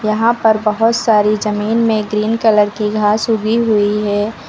यहां पर बहुत सारी जमीन में ग्रीन कलर की घास उगी हुई है।